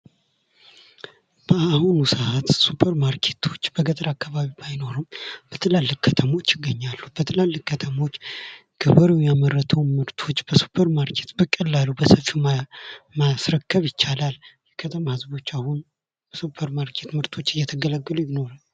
በአሁኑ ሰዓት ሱፐርማርኬቶች በገጠር አካባቢ ባይኖሩም በትላልቅ ከተሞች ይገኛሉ። በትላልቅ ከተሞች ገበሬዉ ያመረተዉ ምርቶች በሱፐርማርኬት በቀላሉ በሰፊዉ ማስረከብ ይቻላል። የከተማ ህዝቦች አሁን በሱፐርማርኬት ምርቶች እየተገለገሉ ይኖራሉ።